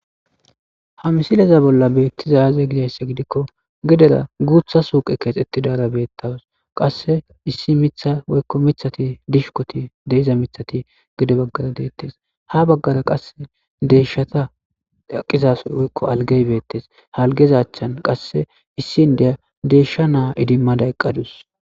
ha misileza bolla beettizay aze gidaysse gidikko gedera guutha suuqe kees etti daara beettaws qasse issi mitha woykko mithati dishukoti deiza mithati gede baggara deettes ha baggara qasse deeshshata daqizaso woykko algey beettes halgezachchan qasse issi ndeya deeshsha naa idimmada oyqqadus.